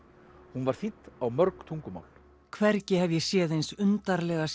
hún var þýdd á mörg tungumál hvergi hef ég séð eins undarlega